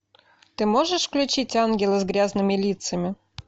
ты можешь включить ангелы с грязными лицами